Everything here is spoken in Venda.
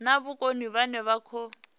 na vhukoni vhane vha khou